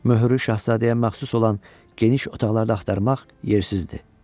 Möhürü şahzadəyə məxsus olan geniş otaqlarda axtarmaq yersizdir.